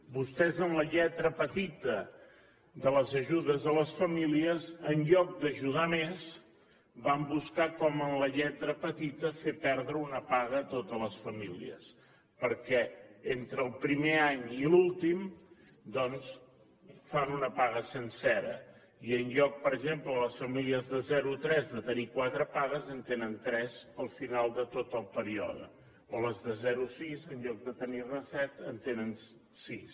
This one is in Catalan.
vostès en la lletra petita de les ajudes a les famílies en lloc d’ajudar més van buscar com en la lletra petita fer perdre una paga a totes les famílies perquè entre el primer any i l’últim doncs fan una paga sencera i en lloc per exemple les famílies de zero a tres de tenir quatre pagues en tenen tres al final de tot el període o les de zero a sis en lloc de tenir ne set en tenen sis